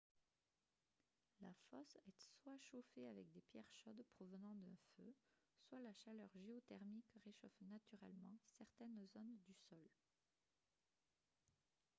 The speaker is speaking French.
la fosse est soit chauffée avec des pierres chaudes provenant d'un feu soit la chaleur géothermique réchauffe naturellement certaines zones du sol